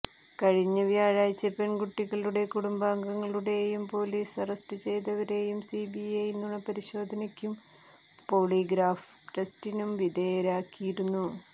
കഴിഞ്ഞ വ്യാഴാഴ്ച പെണ്കുട്ടികളുടെ കുടുംബാംഗങ്ങളെയും പൊലീസ് അറസ്റ്റ് ചെയ്തവരേയും സിബിഐ നുണ പരിശോധനക്കും പോളിഗ്രാഫ് ടെസ്റ്റിനും വിധേയരാക്കിയിരുന്നു